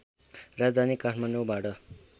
राजधानी काठमाडौँबाट